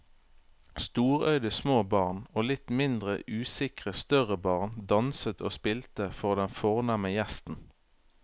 Storøyde små barn og litt mindre usikre større barn danset og spilte for den fornemme gjesten.